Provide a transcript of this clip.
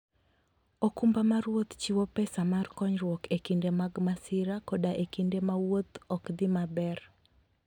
okumba mar wuoth chiwo pesa mar konyruok e kinde mag masira koda e kinde ma wuoth ok dhi maber.